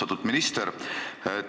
Austatud minister!